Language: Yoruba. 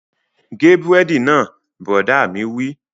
Gé búrẹ́dì náà! Bùrọ̀dá mi wí